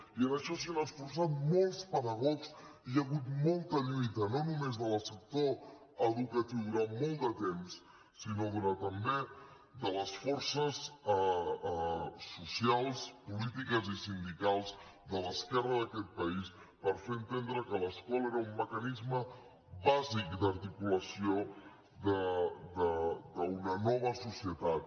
i en això s’hi han esforçat molts pedagogs hi ha hagut molta lluita no només del sector educatiu durant molt de temps sinó també de les forces socials polítiques i sindicals de l’esquerra d’aquest país per fer entendre que l’escola era un mecanisme bàsic d’articulació d’una nova societat